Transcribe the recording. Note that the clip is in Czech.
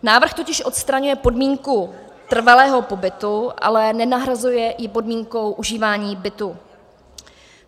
Návrh totiž odstraňuje podmínku trvalého pobytu, ale nenahrazuje ji podmínkou užívání bytu.